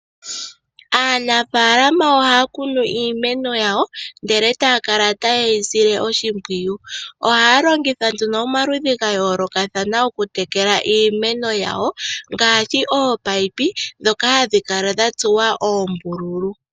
Aanafalama oha kunu iimeno yawo ndele taya kala tayeyi sile oshipwiyu, oha longitha nduno omaludhi ngayoloka thana oku tekela iimeno yawo ngashi ominino dhoka hashikala dhatsuwa oombululu.